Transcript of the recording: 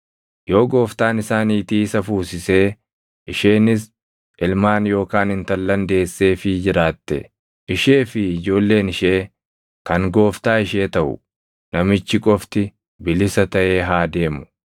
Yoo gooftaan isaa niitii isa fuusisee isheenis ilmaan yookaan intallan deesseefii jiraatte, ishee fi ijoolleen ishee kan gooftaa ishee taʼu; namichi qofti bilisa taʼee haa deemu.